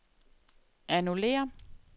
annullér